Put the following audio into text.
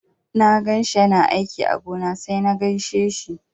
Na ganshi yana aiki a gona sai na gaishe shi.